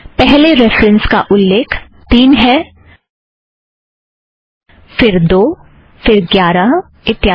पहले रेफ़रन्स का उल्लेख तीन है फ़िर दो फ़िर ग्यारह इत्यादि